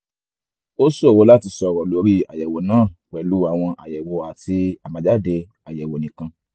ó ṣòro láti sọ̀rọ̀ lórí àyèwò náà pẹ̀lú àwọn àyèwò àti àbájáde àyẹ̀wò nìkan